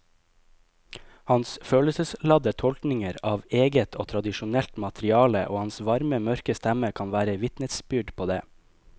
Hans følelsesladde tolkninger av eget og tradisjonelt materiale og hans varme mørke stemme kan være vitnesbyrd på det.